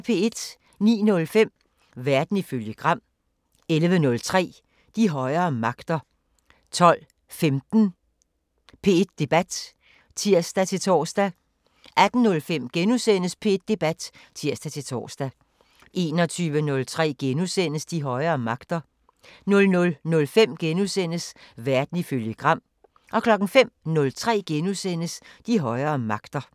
09:05: Verden ifølge Gram 11:03: De højere magter 12:15: P1 Debat (tir-tor) 18:05: P1 Debat *(tir-tor) 21:03: De højere magter * 00:05: Verden ifølge Gram * 05:03: De højere magter *